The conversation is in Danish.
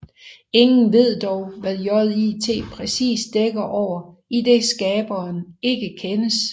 Ingen ved dog hvad JIT præcis dækker over idet skaberen ikke kendes